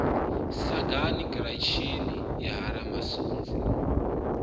sagani giratshini ya ha ramasunzi